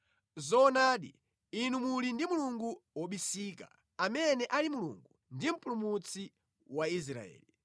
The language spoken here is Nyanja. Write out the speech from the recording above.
Zoonadi inu muli ndi Mulungu wobisika amene ali Mulungu ndi Mpulumutsi wa Israeli.